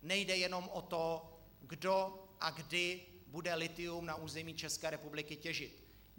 Nejde jenom o to, kdo a kdy bude lithium na území České republiky těžit.